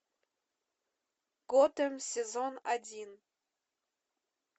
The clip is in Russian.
готэм сезон один